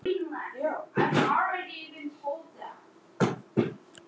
Neitaði einhver, kæmi til fjársekt eða fangelsi.